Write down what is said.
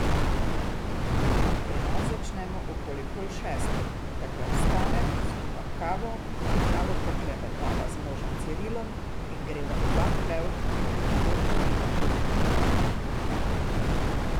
Pri nas začnemo okoli pol šestih, takrat vstanem, skuham kavo, malo poklepetava z možem Cirilom in greva oba v hlev, urediva živino.